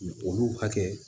Olu hakɛ